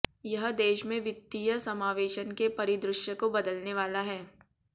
यह देश में वित्तीय समावेशन के परिदृश्य को बदलने वाला है